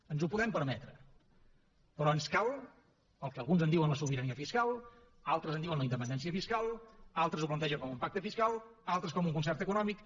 ens ho podem permetre però ens cal el que alguns en diuen la sobirania fiscal altres en diuen la independència fiscal altres ho plantegen com un pacte fiscal altres com un concert econòmic